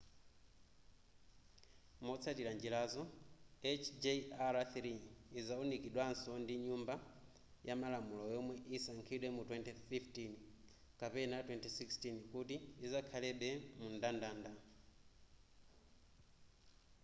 motsatira njirazo hjr-3 izawunikidwaso ndi nyumba yamalamulo yomwe isankhidwe mu 2015 kapena 2016 kuti zikhalebe mumndandanda